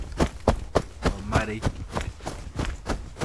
Omarei.